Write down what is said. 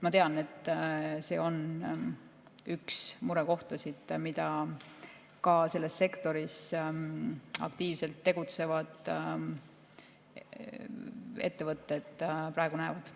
Ma tean, et see on üks murekohtasid, mida ka selles sektoris aktiivselt tegutsevad ettevõtted praegu näevad.